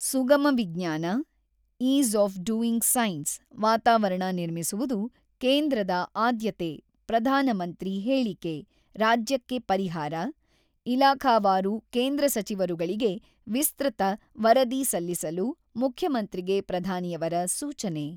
ಸುಗಮ ವಿಜ್ಞಾನ, ease of doing science ವಾತಾವರಣ ನಿರ್ಮಿಸುವುದು ಕೇಂದ್ರದ ಆದ್ಯತೆ ಪ್ರಧಾನಮಂತ್ರಿ, ಹೇಳಿಕೆ, ರಾಜ್ಯಕ್ಕೆ ಪರಿಹಾರ ; ಇಲಾಖಾವಾರು ಕೇಂದ್ರ ಸಚಿವರುಗಳಿಗೆ ವಿಸ್ತ್ರತ ವರದಿ ಸಲ್ಲಿಸಲು, ಮುಖ್ಯಮಂತ್ರಿಗೆ ಪ್ರಧಾನಿಯವರ ಸೂಚನೆ.